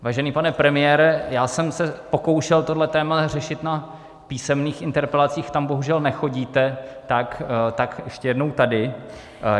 Vážený pane premiére, já jsem se pokoušel tohle téma řešit na písemných interpelacích, tam bohužel nechodíte, tak ještě jednou tady.